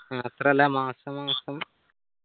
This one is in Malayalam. മാത്രല്ല മാസമാസം